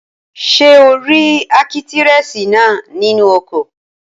Ṣé o rí ákítírẹ́sì náà nínú ọkọ̀?